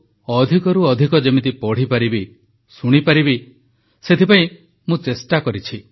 ଏସବୁକୁ ଅଧିକରୁ ଅଧିକ ଯେମିତି ପଢ଼ିପାରିବି ଶୁଣିପାରିବି ସେଥିପାଇଁ ମୁଁ ଚେଷ୍ଟା କରିଛି